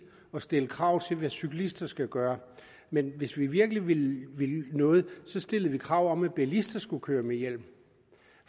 at stille krav til hvad cyklister skal gøre men hvis vi virkelig ville noget stillede vi krav om at bilister skulle køre med hjelm